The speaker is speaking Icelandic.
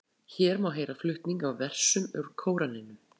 Hér má heyra flutning á versum úr Kóraninum.